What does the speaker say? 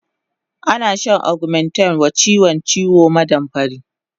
Ana shan augmentin wa chiwon ciwon maɗamfari